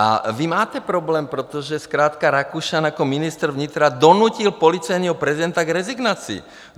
A vy máte problém, protože zkrátka Rakušan jako ministr vnitra donutil policejního prezidenta k rezignaci.